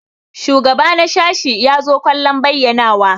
Shugaba na sashi ya zo kallon bayyanawa.